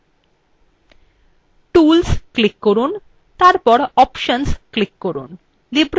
tools click করুনতারপর options click করুন